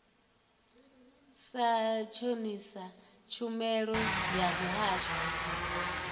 sa shonisa tshumelo ya muvhuso